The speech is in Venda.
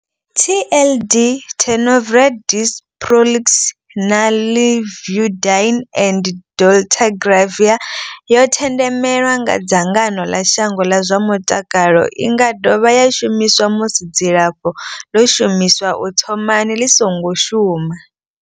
TLD Tenofovir disoproxil, Lamivudine and dolutegravir yo themendelwa nga dzangano ḽa shango ḽa zwa mutakalo. I nga dovha ya shumiswa musi dzilafho ḽo shumiswaho u thomani ḽi songo shuma.